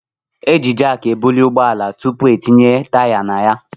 Eji jak ebuli ụgbọala tupu etinye taya na ya.